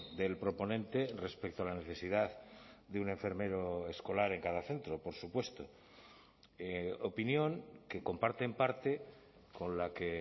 del proponente respecto a la necesidad de un enfermero escolar en cada centro por supuesto opinión que comparte en parte con la que